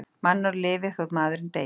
Mannorð lifir þó maðurinn deyi.